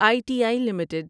I T I limited